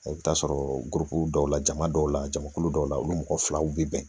I bɛ t'a sɔrɔ dɔw la jama dɔw la jamakulu dɔw la olu mɔgɔ filaw bɛ bɛn